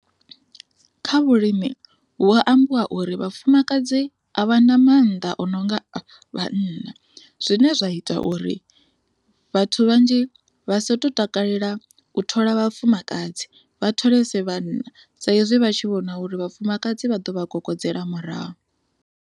Kha vhulimi vhu a ambiwa uri vhafumakadzi a vha na mannḓa o no nga vhana zwine zwa ita uri vhathu vhanzhi vha so takalela u thola vhafumakadzi vha tholese vhana sa izwi vha tshi vhona uri vhafumakadzi vha ḓo vha kokodzela murahu.